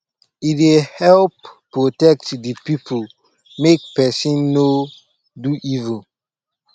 e dey help protect de people make pesin no do evil